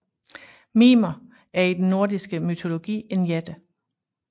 Mimer er i den nordiske mytologi en jætte